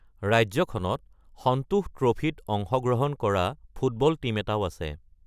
ৰাজ্যখনত সন্তোষ ট্ৰফীত অংশগ্ৰহণ কৰা ফুটবল টীম এটাও আছে।